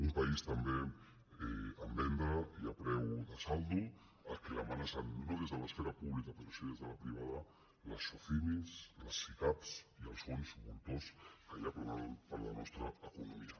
un país també en venda i a preu de saldo que l’ame·nacen no des de l’esfera pública però sí des de la pri·vada les socimi les sicav i els fons voltors que hi ha planant per la nostra economia